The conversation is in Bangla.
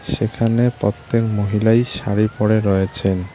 সেখানে প্রত্যেক মহিলাই শাড়ি পরে রয়েছেন।